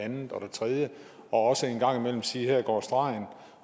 andet og det tredje og også en gang imellem sige at her går stregen